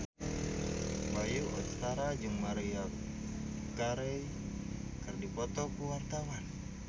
Bayu Octara jeung Maria Carey keur dipoto ku wartawan